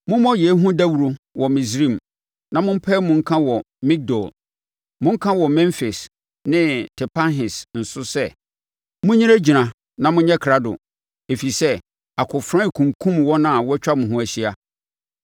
“Mommɔ yei ho dawuro wɔ Misraim, na mompae mu nka wɔ Migdol; monka wɔ Memfis ne Tapanhes nso sɛ, ‘Monnyinagyina na monyɛ krado, ɛfiri sɛ, akofena rekunkum wɔn a wɔatwa mo ho ahyia.’